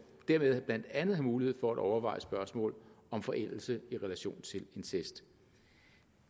derved blandt andet have mulighed for at overveje spørgsmål om forældelse i relation til incest